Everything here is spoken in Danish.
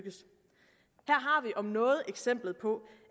om noget eksemplet på